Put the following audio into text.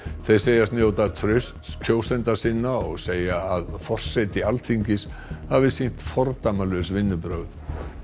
þeir segjast njóta trausts kjósenda sinna og segja að forseti Alþingis hafi sýnt fordæmalaus vinnubrögð